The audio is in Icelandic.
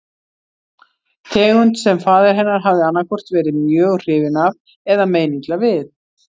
Tegund sem faðir hennar hafði annaðhvort verið mjög hrifinn af eða meinilla við.